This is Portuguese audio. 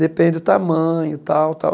Depende o tamanho, tal, tal.